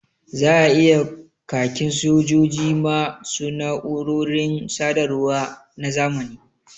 Za a yi khakin sojoji ma su na’urorin sadarwa na zamani